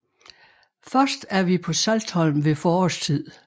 Først er vi på Saltholm ved forårstid